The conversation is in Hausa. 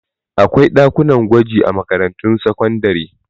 Akwai ɗakunan gwaji a makarantun sakandare.